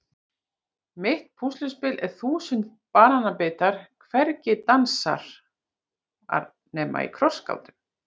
Mitt púsluspil er þúsund banabitar hvergi dansar ar nema í krossgátum